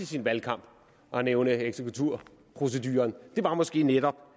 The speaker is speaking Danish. sin valgkamp at nævne eksekvaturproceduren måske netop